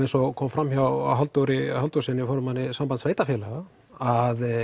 eins og kom fram hjá Halldóri Halldórssyni formanni Sambands sveitarfélaga að